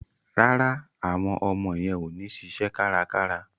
Rárá, àwọn ọmọ yẹn ò ní ṣiṣẹ́ kárakára.